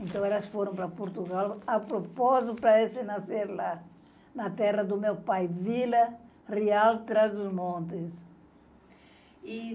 Então, elas foram para Portugal a propósito para esse nascer lá, na terra do meu pai, Vila Real Trás-os-Montes. E